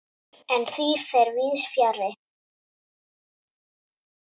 En því fer víðs fjarri.